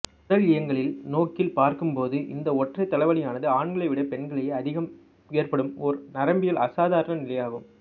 உடலியங்கியல் நோக்கில் பார்க்கும்போது இந்த ஒற்றைத் தலைவலியானது ஆண்களைவிட பெண்களிலேயே அதிகம் ஏற்படும் ஓர் நரம்பியல் அசாதாரண நிலையாகும்